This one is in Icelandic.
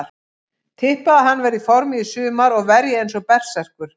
Tippa að hann verði í formi í sumar og verji eins og berserkur.